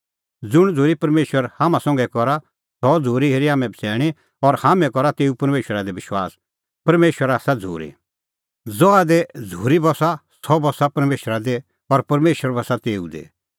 ज़ुंण झ़ूरी परमेशर हाम्हां संघै करा सह झ़ूरी हेरी हाम्हैं बछ़ैणीं और हाम्हैं करा तेऊ परमेशरा दी विश्वास परमेशर आसा झ़ूरी ज़हा दी झ़ूरी बस्सा सह बस्सा परमेशरा दी और परमेशर बस्सा तेऊ दी